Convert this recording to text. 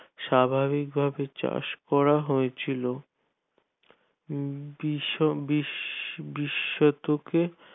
স্বাভাবিক ভাবে চাষ করা হয়েছিল বিশও বিশ বিশ শতকে